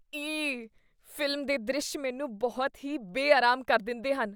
ਈਅ ! Film ਦੇ ਦ੍ਰਿਸ਼ ਮੈਨੂੰ ਬਹੁਤ ਹੀ ਬੇਅਰਾਮ ਕਰ ਦਿੰਦੇਹਨ।